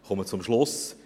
Ich komme zum Schluss.